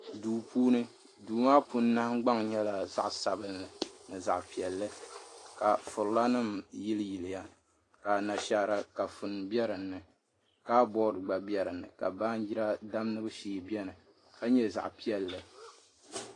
Duu puuni duu maa puuni nahangbaŋ nyɛla zaɣ sabinli ni zaɣ piɛlli ka furila nim yili yiliya ka Anashaara kafuni bɛ dinni kabood gba bɛ dinni ka baanjira damgibu shee biɛni ka nyɛ zaɣ piɛlli